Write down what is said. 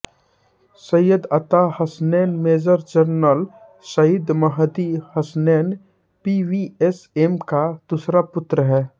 Syed Ata Hasnain major general Saeed Mahdi Hasnain PVSM का दूसरा पुत्र हैं